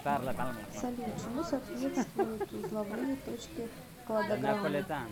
салют чему соответствуютузловые точки кладограммы